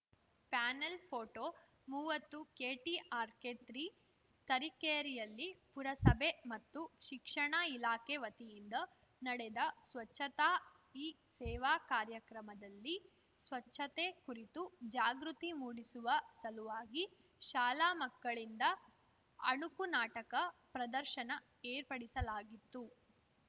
panel photo ಮುವತ್ತುಕೆಟಿಆರ್‌ಕೆತ್ರಿ ತರೀಕೆರೆಯಲ್ಲಿ ಪುರಸಭೆ ಮತ್ತು ಶಿಕ್ಷಣ ಇಲಾಖೆ ವತಿಯಿಂದ ನಡೆದ ಸ್ವಚ್ಚತಾ ಹಿ ಸೇವಾ ಕಾರ್ಯಕ್ರಮದಲ್ಲಿ ಸ್ವಚ್ಛತೆ ಕುರಿತು ಜಾಗೃತಿ ಮೂಡಿಸುವ ಸಲುವಾಗಿ ಶಾಲಾ ಮಕ್ಕಳಿಂದ ಅಣುಕು ನಾಟಕ ಪ್ರದರ್ಶನ ಏರ್ಪಡಿಸಲಾಗಿತ್ತು